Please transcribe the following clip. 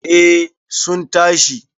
eh sun tashi